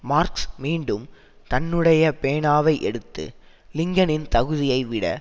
marks மீண்டும் தன்னுடைய பேனாவை எடுத்து லிங்கனின் தகுதியை விட